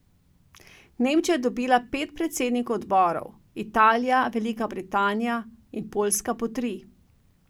Nemčija je dobila pet predsednikov odborov, Italija, Velika Britanija in Poljska po tri.